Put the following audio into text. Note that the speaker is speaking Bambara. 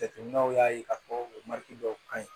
Jateminɛw y'a ye k'a fɔ dɔw ka ɲi